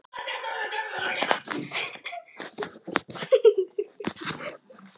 Og ég gat meira að segja séð upp í himininn.